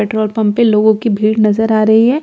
petrol pump पे लोगों की भीड़ नजर आ रही है जो अपनी--